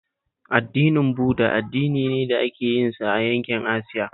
Addinin Buda addini ne da ake yinsa a yankin Asiya